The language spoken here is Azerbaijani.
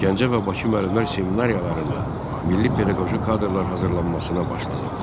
Gəncə və Bakı müəllimlər seminariyalarında milli pedaqoji kadrlar hazırlanmasına başlanıldı.